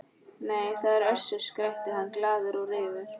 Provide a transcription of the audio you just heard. Nei, það er Össur, skrækti hann glaður og reifur.